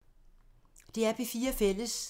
DR P4 Fælles